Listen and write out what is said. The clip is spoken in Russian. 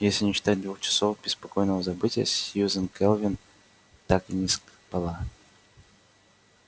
если не считать двух часов беспокойного забытья сьюзен кэлвин так и не спала